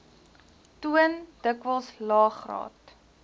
toon dikwels laegraad